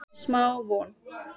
Smá von